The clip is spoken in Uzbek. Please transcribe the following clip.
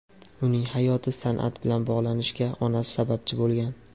Uning hayoti san’at bilan bog‘lanishiga onasi sababchi bo‘lgan.